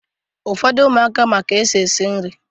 Ụfọdụ ụmụaka ma ka-esi eshi nri